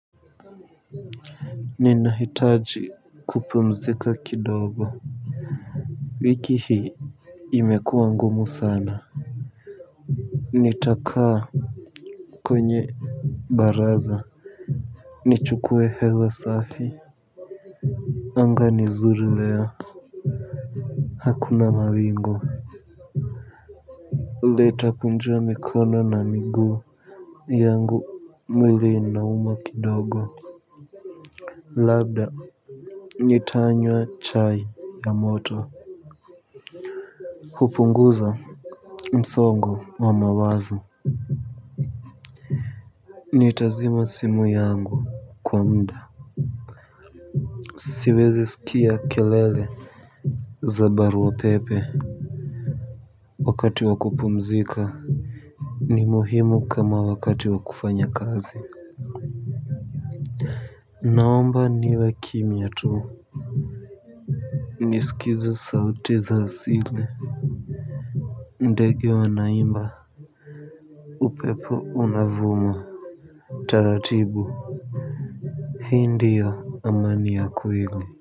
Ninahitaji kupumzika kidogo. Wiki hii imekuwa ngumu sana. Nitakaa kwenye Baraza. Nichukue hewe safi. Anga ni zuri leo. Hakuna mawingu nitakujua mikono na miguu yangu mwili inauma kidogo. Labda nitanywa chai ya moto. Hupunguza msongo wa mawazo. Nitazima simu yangu kwa muda siwezi sikia kelele za barua pepe. Wakati wa kupumzika ni muhimu kama wakati wa kufanya kazi naomba niwe kimya tu niskize sauti za sile ndege wanaimba. Upepo unavumo Taratibu. Hii ndiyo amani ya kweli.